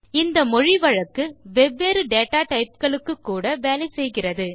இந்த மொழி வழக்கு வெவ்வேறு data டைப் களுக்கு கூட வேலை செய்கிறது